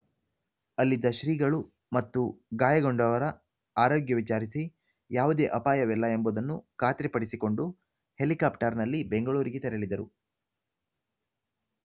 ಅಲ್ಲಿದ್ದ ಶ್ರೀಗಳು ಮತ್ತು ಗಾಯಗೊಂಡವರ ಆರೋಗ್ಯ ವಿಚಾರಿಸಿ ಯಾವುದೇ ಅಪಾಯವಿಲ್ಲ ಎಂಬುದನ್ನು ಖಾತ್ರಿಪಡಿಸಿಕೊಂಡು ಹೆಲಿಕಾಪ್ಟರ್‌ನಲ್ಲಿ ಬೆಂಗಳೂರಿಗೆ ತೆರಳಿದರು